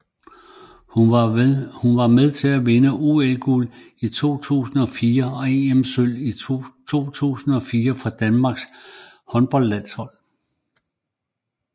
Hun var med til at vinde OL guld i 2004 og EM Sølv 2004 for Danmarks håndboldlandshold